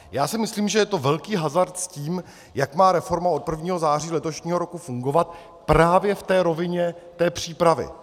Já si myslím, že je to velký hazard s tím, jak má reforma od 1. září letošního roku fungovat právě v té rovině té přípravy.